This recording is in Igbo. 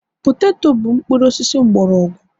poteto bụ mpuru osisi mgbọrọgwụ